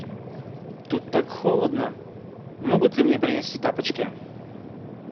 тут так холодно могут ли мне принести тапочки